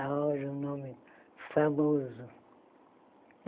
Agora um nome famoso.